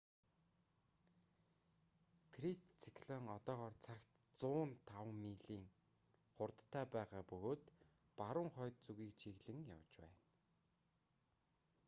фред циклон одоогоор цагт 105 милийн 165 км/цаг хурдтай байгаа бөгөөд баруун хойд зүгийг чиглэн явж байна